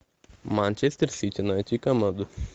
манчестер сити найти команду